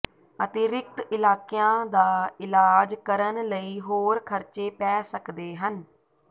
ਅਤਿਰਿਕਤ ਇਲਾਕਿਆਂ ਦਾ ਇਲਾਜ ਕਰਨ ਲਈ ਹੋਰ ਖ਼ਰਚੇ ਪੈ ਸਕਦੇ ਹਨ